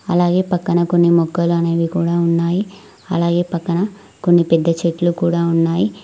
అలాగే పక్కన కొన్ని మొక్కలు అనేవి కూడా ఉన్నాయి అలాగే పక్కన కొన్ని పెద్ద చెట్లు కూడా ఉన్నాయి.